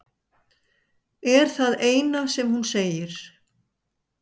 er það eina sem hún segir.